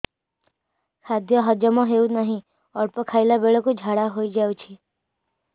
ଖାଦ୍ୟ ହଜମ ହେଉ ନାହିଁ ଅଳ୍ପ ଖାଇଲା ବେଳକୁ ଝାଡ଼ା ହୋଇଯାଉଛି